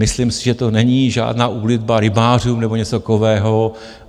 Myslím si, že to není žádná úlitba rybářům nebo něco takového.